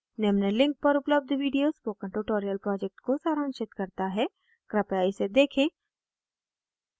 निम्न link पर उपलब्ध video spoken tutorial project को सारांशित करता है कृपया इसे देखें